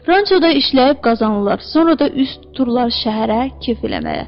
Rancho da işləyib qazanırlar, sonra da üz tuturlar şəhərə kef eləməyə.